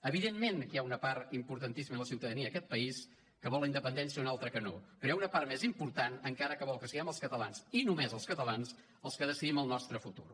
evidentment que hi ha una part importantíssima de la ciutadania d’aquest país que vol la independència i una altra que no però hi ha una part més important encara que vol que siguem els catalans i només els catalans els que decidim el nostre futur